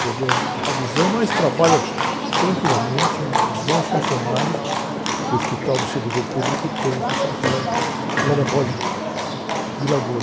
Perdeu a visão, mas trabalha tranquilamente, é um dos bons funcionários que o Hospital do Servidor Público tem aqui em São Paulo, lá na Vila Gomes.